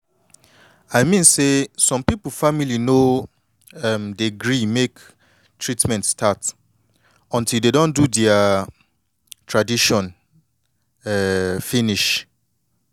i mean say people family no um dey gree make treatment start until dey don do dea tradition um finish